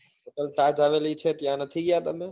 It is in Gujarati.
hotel taj આવેલી છે ત્યાં નથી ગયા તમે?